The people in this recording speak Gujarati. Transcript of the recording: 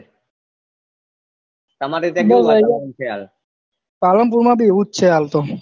તમારે ત્યાં કેવું વાતાવરણ છે હાલ પાલનપુર માં ભી એવું જ છે હાલ તો